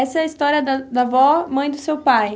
Essa é a história da da avó, mãe do seu pai?